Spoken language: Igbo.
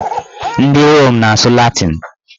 Ndị Rom na-asụ latịn